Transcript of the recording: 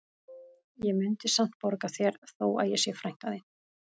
Ég mundi samt borga þér þó að ég sé frænka þín